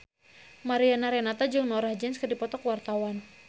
Mariana Renata jeung Norah Jones keur dipoto ku wartawan